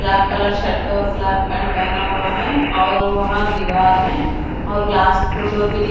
black colour shirt और black pant पहना हुआ है और वहां दीवार है और ग्लास फोटो भी--